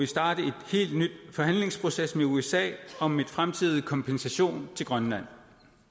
starte en helt nyt forhandlingsproces med usa om en fremtidig kompensation til grønland